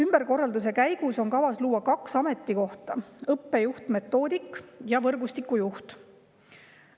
" Ümberkorralduse käigus on kavas luua kaks ametikohta: õppejuht-metoodik ja võrgustiku juht.